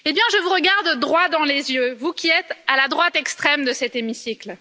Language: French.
Et bien je vous regarde droit dans les yeux, vous qui êtes à la droite extrême de cet hémicycle.